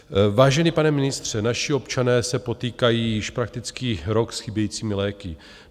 Vážený pane ministře, naši občané se potýkají již prakticky rok s chybějícími léky.